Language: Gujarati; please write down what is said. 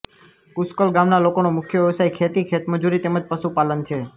કુશ્કલ ગામના લોકોનો મુખ્ય વ્યવસાય ખેતી ખેતમજૂરી તેમ જ પશુપાલન છે